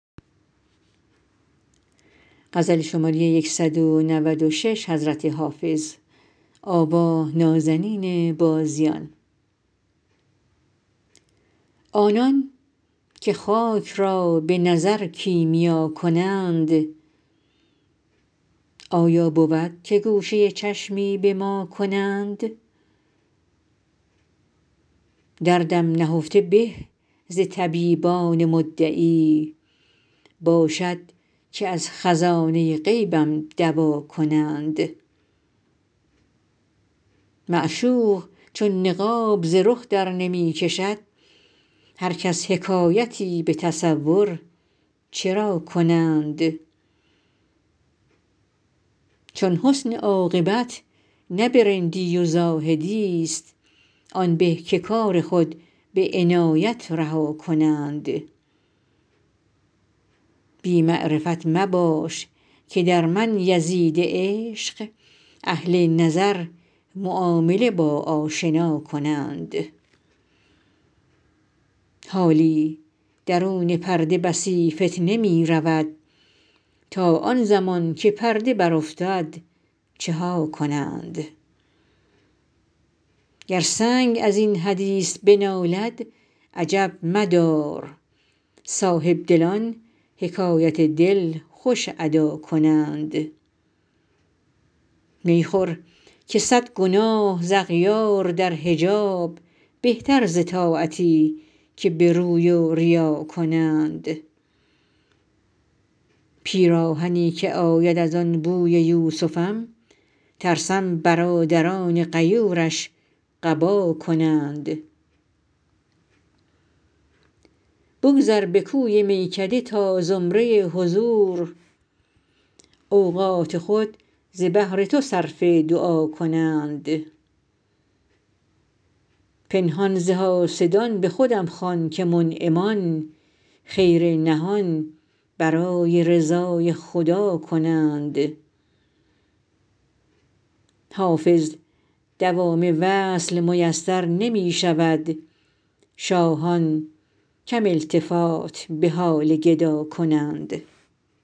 آنان که خاک را به نظر کیمیا کنند آیا بود که گوشه چشمی به ما کنند دردم نهفته به ز طبیبان مدعی باشد که از خزانه غیبم دوا کنند معشوق چون نقاب ز رخ درنمی کشد هر کس حکایتی به تصور چرا کنند چون حسن عاقبت نه به رندی و زاهدی ست آن به که کار خود به عنایت رها کنند بی معرفت مباش که در من یزید عشق اهل نظر معامله با آشنا کنند حالی درون پرده بسی فتنه می رود تا آن زمان که پرده برافتد چه ها کنند گر سنگ از این حدیث بنالد عجب مدار صاحبدلان حکایت دل خوش ادا کنند می خور که صد گناه ز اغیار در حجاب بهتر ز طاعتی که به روی و ریا کنند پیراهنی که آید از او بوی یوسفم ترسم برادران غیورش قبا کنند بگذر به کوی میکده تا زمره حضور اوقات خود ز بهر تو صرف دعا کنند پنهان ز حاسدان به خودم خوان که منعمان خیر نهان برای رضای خدا کنند حافظ دوام وصل میسر نمی شود شاهان کم التفات به حال گدا کنند